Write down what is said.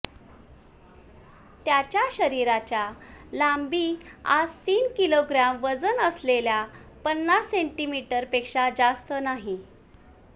त्याच्या शरीराच्या लांबी आज तीन किलोग्रॅम वजन असलेल्या पन्नास सेंटीमीटर पेक्षा जास्त नाही